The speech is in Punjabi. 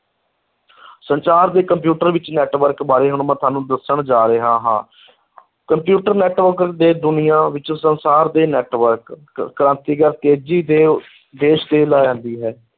ਸੰਚਾਰ ਦੇ ਕੰਪਿਊਟਰ ਵਿੱਚ network ਬਾਰੇ ਹੁਣ ਮੈਂ ਤੁਹਾਨੂੰ ਦੱਸਣ ਜਾ ਰਿਹਾ ਹਾਂ ਕੰਪਿਊਟਰ network ਦੇ ਦੁਨੀਆਂ ਵਿੱਚ ਸੰਸਾਰ ਦੇ network ਕ ਕ੍ਰਾਂਤੀਕਾਰ ਤੇਜ਼ੀ ਤੇ ਹੈ।